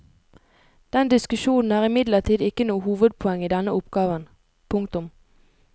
Den diskusjonen er imidlertid ikke noe hovedpoeng i denne oppgaven. punktum